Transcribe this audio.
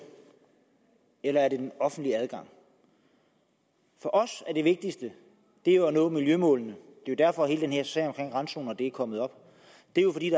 eller er det den offentlige adgang for os er det vigtigste at nå miljømålene det er derfor at hele den her sag om randzoner er kommet op det er jo fordi